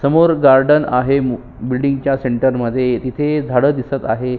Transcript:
समोर गार्डन आहे बिल्डिंग च्या सेंटर मध्ये तिथे झाड दिसत आहे.